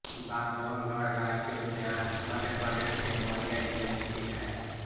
बांधवगढ़ राष्ट्रीय उद्यान मध्यप्रदेश के उमरिया जिले में स्थित है